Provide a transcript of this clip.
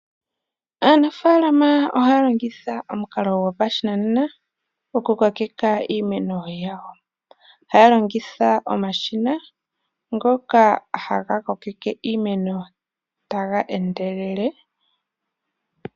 Aanafalama ohaya longitha omukalo gopashinanena, oku kokeka iimeno yawo. Ohaya longitha omashina, ngoka haga kokeke iimeno, taga endelele.